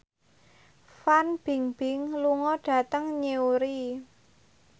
Fan Bingbing lunga dhateng Newry